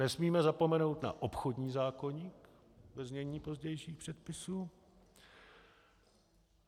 Nesmíme zapomenout na obchodní zákoník, ve znění pozdějších předpisů.